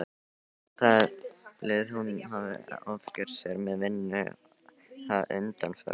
Talið að hún hafi ofgert sér með vinnu að undanförnu.